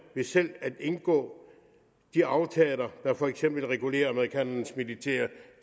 selv at indgå de aftaler der for eksempel regulerer amerikanernes militære